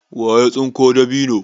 waye ya tsinko dabino?